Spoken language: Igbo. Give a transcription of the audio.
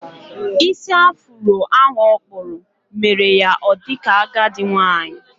Ísì afuro ahụ okpúrụ, mere ya o dika agadi nwanyị